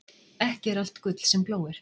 Ekki er allt gull sem glóir.